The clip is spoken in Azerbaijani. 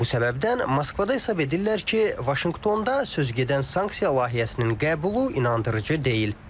Bu səbəbdən Moskvada hesab edirlər ki, Vaşinqtonda sözügedən sanksiya layihəsinin qəbulu inandırıcı deyil.